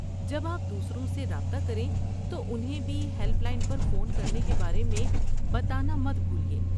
جب آپ دوسروں سے رابطہ کریں تو انہیں بھی ہیلپ لائن پر فون کرنے کے بارے میں بتانا مت بھولیے۔